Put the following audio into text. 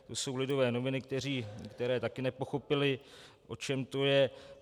To jsou Lidové noviny, které také nepochopily, o čem to je.